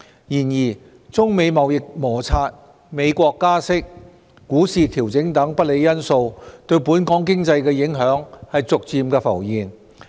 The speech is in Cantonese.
然而，中美貿易摩擦、美國加息、股市調整等不利因素對本港經濟的影響逐漸浮現。